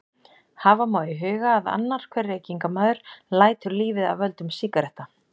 Hafa má í huga að annar hver reykingamaður lætur lífið af völdum sígaretta.